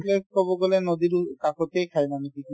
place ক'ব গ'লে নদী দু কাষতে খাই মানুহ কিছুমান